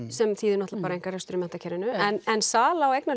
sem þýðir náttúrulega einkarekstur í menntakerfinu en sala á